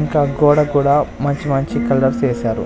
ఇంకా గోడకు కూడా మంచి మంచి కలర్స్ ఏశారు.